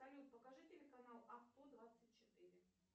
салют покажи телеканал авто двадцать четыре